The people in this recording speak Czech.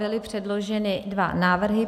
Byly předloženy dva návrhy.